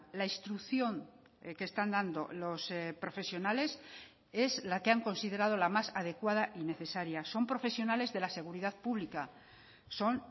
la instrucción que están dando los profesionales es la que han considerado la más adecuada y necesaria son profesionales de la seguridad pública son